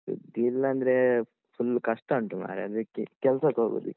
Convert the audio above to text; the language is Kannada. ಸುದ್ದಿಲ್ಲ ಅಂದ್ರೆ ಫುಲ್ ಕಷ್ಟ ಉಂಟ್ ಮಾರ್ರೆ ಅದಕ್ಕೆ ಕೆಲ್ಸಕ್ಕ್ ಹೋಗುದ್ ಈಗ.